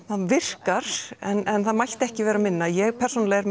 það virkar en mætti ekki vera minna ég persónulega er